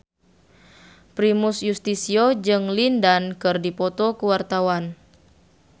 Primus Yustisio jeung Lin Dan keur dipoto ku wartawan